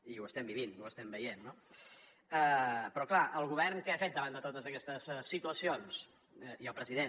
i ho estem vivint ho estem veient no però clar el govern què ha fet davant de totes aquestes situacions i el president